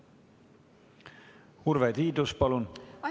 Urve Tiidus, palun!